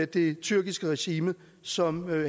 det tyrkiske regime som